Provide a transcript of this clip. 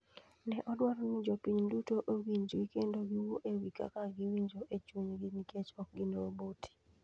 Ne odwaro ni jopiny duto owinjgi kendo giwuo e wi kaka giwinjo e chunygi nikech ok gin roboti.